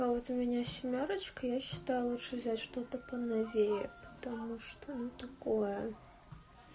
а вот у меня семёрочка я считаю лучше взять что-то по новей потому что ну такое